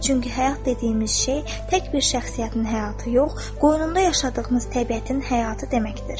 Çünki həyat dediyimiz şey tək bir şəxsiyyətin həyatı yox, qoynunda yaşadığımız təbiətin həyatı deməkdir.